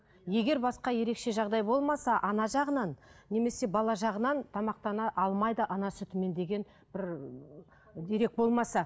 егер басқа ерекше жағдай болмаса ана жағынан немесе бала жағынан тамақтана алмайды ана сүтімен деген бір дерек болмаса